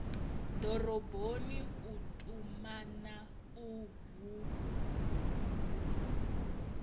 doroboni u tumana uhu hu